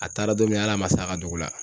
A taara don min hali a ma s'a ka dugu la.